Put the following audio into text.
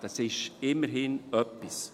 Das ist immerhin etwas.